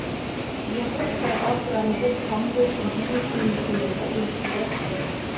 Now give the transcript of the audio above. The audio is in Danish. Vi har brug for et opgør med den fromhed, som hele tiden sniger sig ind på os.